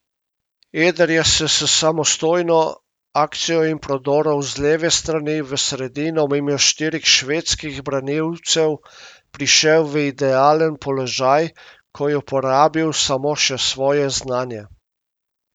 Eder je s samostojno akcijo in prodorom z leve strani v sredino mimo štirih švedskih branilcev prišel v idealen položaj, ko je uporabil samo še svoje znanje.